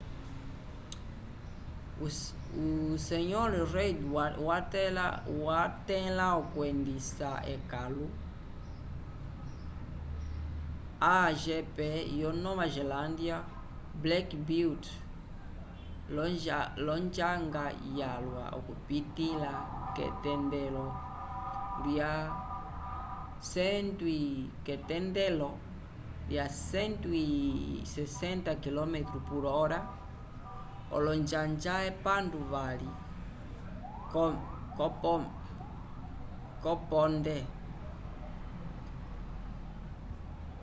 o sr. reid watẽla okwendisa ekãlu a1gp yo nova zelândia o black beauty l’onjanga yalwa ipitĩla k’etendelo lya 160km/h olonjanja epandu-vali k’oponde